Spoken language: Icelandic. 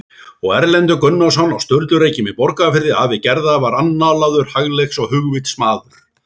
Og Erlendur Gunnarsson á Sturlureykjum í Borgarfirði afi Gerðar var annálaður hagleiks- og hugvitsmaður.